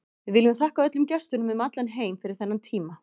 Við viljum þakka öllum gestunum um allan heim fyrir þennan tíma.